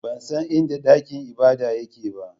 Ban san inda dakin ibada yake ba.